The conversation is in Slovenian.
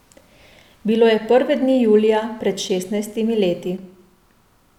Bilo je prve dni julija pred šestnajstimi leti.